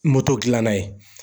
Moto dilan na ye.